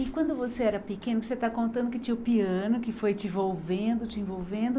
E quando você era pequena, você está contando que tinha o piano que foi te envolvendo, te envolvendo.